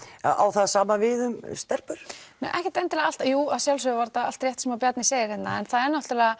á það sama við um stelpur ekkert endilega alltaf eða jú að sjálfsögðu var þetta allt rétt sem að Bjarni segir hérna en það er náttúrulega